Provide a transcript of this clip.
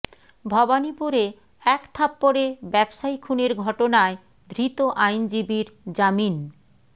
ভবানীপুরে এক থাপ্পড়ে ব্যবসায়ী খুনের ঘটনায় ধৃত আইনজীবীর জামিন